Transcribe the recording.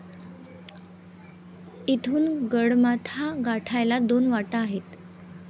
इथून गडमाथा गाठायला दोन वाटा आहेत.